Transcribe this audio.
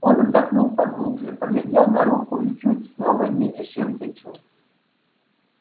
он вдохнул поглубже поглядел на руку и чуть снова не лишился чувств